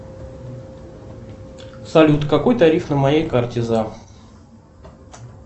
салют какой тариф на моей карте зам